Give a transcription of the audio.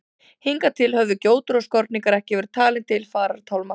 Hingað til höfðu gjótur og skorningar ekki verið talin til farartálma.